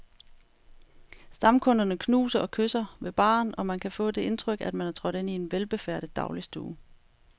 Stamkunderne knuser og kysser ved baren, og man kan få det indtryk, at man er trådt ind i en velbefærdet dagligstue.